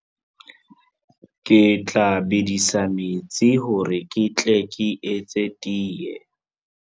Ke tla bedisa metsi hore ke tle ke etse tee.